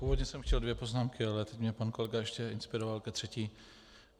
Původně jsem chtěl dvě poznámky, ale teď mě pan kolega ještě inspiroval ke třetí.